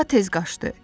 Daha tez qaçdı.